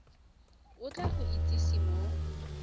o tla go itsise mo